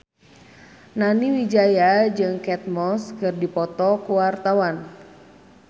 Nani Wijaya jeung Kate Moss keur dipoto ku wartawan